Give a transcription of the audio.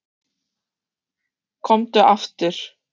Komdu aftur.